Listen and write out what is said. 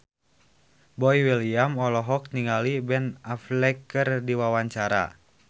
Boy William olohok ningali Ben Affleck keur diwawancara